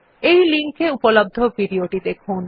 এই লিঙ্ক এ উপলব্ধ ভিডিও টি দেখুন